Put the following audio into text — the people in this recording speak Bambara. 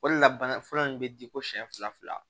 O de la bana fɔlɔ in bɛ di ko siɲɛ fila